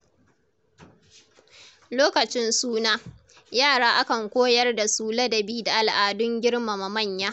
Lokacin suna, yara akan koyar da su ladabi da al’adun girmama manya.